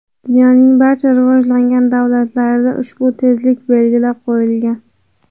Dunyoning barcha rivojlangan davlatlarida ushbu tezlik belgilab qo‘yilgan.